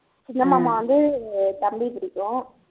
சின்னமாமா வந்து தம்பி பிடிக்கும்